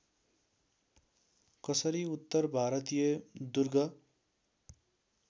कसरी उत्तर भारतीय दुर्ग